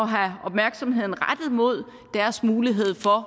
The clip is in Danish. have opmærksomheden rettet imod deres mulighed for